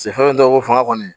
fɛn dɔw ko fanga kɔni